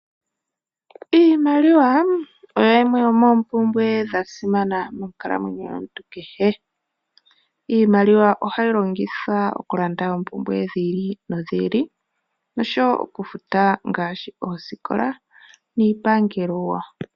Iimaliwa oyo yimwe yomoompumbwe dhasima monkalamwenyo yomuntu kehe. Iimaliwa oha yi longithwa okulanda oompumbwe dhi ili no dhi ili, nosho woo okufuta ooskikola, nosho woo iipangelo.